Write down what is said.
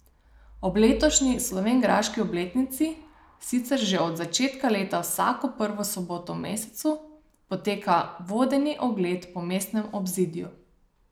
Ob letošnji slovenjgraški obletnici sicer že od začetka leta vsako prvo soboto v mesecu poteka vodeni ogled po mestnem obzidju.